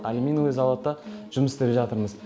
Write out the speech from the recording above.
алюминовый зауытта жұмыс істеп жатырмыз